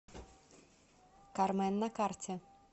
кармен на карте